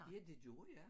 Ja det gjorde jeg